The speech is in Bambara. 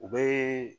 U bɛ